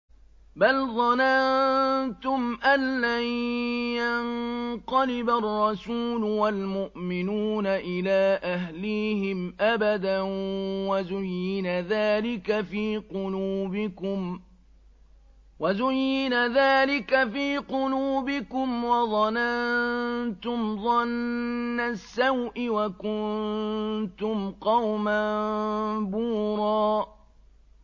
بَلْ ظَنَنتُمْ أَن لَّن يَنقَلِبَ الرَّسُولُ وَالْمُؤْمِنُونَ إِلَىٰ أَهْلِيهِمْ أَبَدًا وَزُيِّنَ ذَٰلِكَ فِي قُلُوبِكُمْ وَظَنَنتُمْ ظَنَّ السَّوْءِ وَكُنتُمْ قَوْمًا بُورًا